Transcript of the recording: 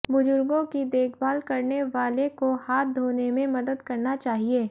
बुजुर्गों की देखभाल करने वाले को हाथ धोने में मदद करना चाहिए